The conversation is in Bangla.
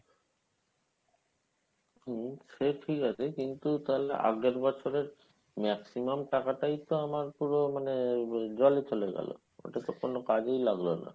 হম সে ঠিক আছে কিন্তু তাহলে আগের বছরের maximum টাকাটাই তো আমার পুরো মানে আহ জলে চলে গেলো ওটা তো কোনো কাজেই লাগলো না।